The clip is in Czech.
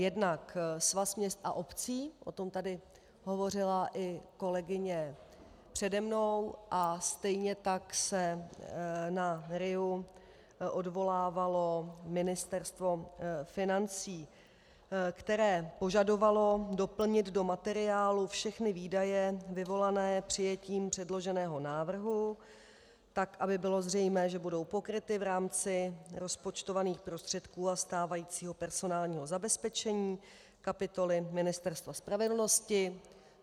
Jednak Svaz měst a obcí, o tom tady hovořila i kolegyně přede mnou, a stejně tak se na RIA odvolávalo Ministerstvo financí, které požadovalo doplnit do materiálu všechny výdaje vyvolané přijetím předloženého návrhu tak, aby bylo zřejmé, že budou pokryty v rámci rozpočtovaných prostředků a stávajícího personálního zabezpečení kapitoly Ministerstva spravedlnosti.